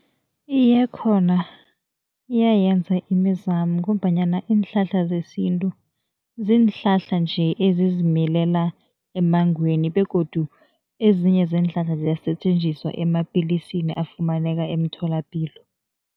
Iye, khona iyayenza imizamo ngombanyana iinhlahla zesintu, ziinhlahla nje ezizimilela emmangweni begodu ezinye zeenhlahla ziyasetjenziswa emapilisini afumaneka emtholapilo.